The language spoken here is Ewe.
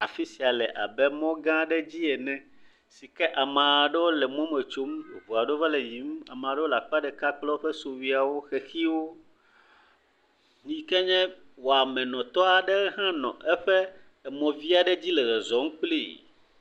Afi sia le abe mɔ gã aɖe dzi ene si ke amea ɖewo le mɔ me tsom, eŋu aɖewo va le yiyim, amea ɖewo le akpa ɖeka kple woƒe sukuviawo, xexiwo yike nye wɔamenɔtɔ ɖe hã nɔ emɔ vi aɖe dzi le zɔzɔm kplii.